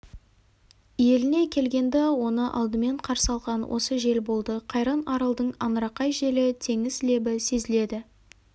еліне келгенде оны алдымен қарсы алған осы жел болды қайран аралдың аңырақай желі теңіз лебі сезіледі